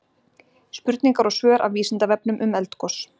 Spurningar og svör af Vísindavefnum um eldgos.